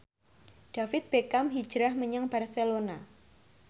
David Beckham hijrah menyang Barcelona